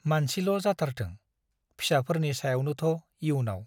मानसिल' जाथारथों- फिसाफोरनि सायावनोथ' इयुनाव